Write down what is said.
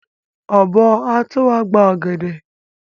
Ọ̀bọ́ á tó wá gba ọ̀gẹ̀dẹ̀.